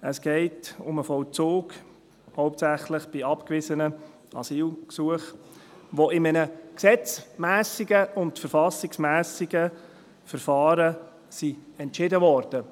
Es geht um den Vollzug, hauptsächlich bei abgewiesenen Asylgesuchen, die in einem gesetzmässigen und verfassungsmässigen Verfahren entschieden wurden.